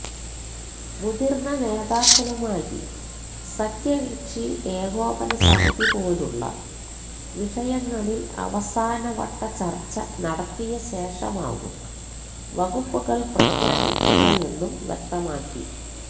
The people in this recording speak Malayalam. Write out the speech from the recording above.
മുതിർന്ന നേതാക്കളുമായി സഖ്യകക്ഷി ഏകോപന സമിതി പോലുള്ള വിഷയങ്ങളിൽ അവസാനവട്ട ചർച്ച നടത്തിയ ശേഷമാകും വകുപ്പുകൾ പ്രഖ്യാപിക്കുകയെന്നും വ്യക്തമാക്കി